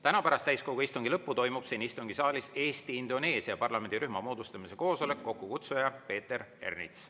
Täna pärast täiskogu istungi lõppu toimub siin istungisaalis Eesti–Indoneesia parlamendirühma moodustamise koosolek, kokkukutsuja Peeter Ernits.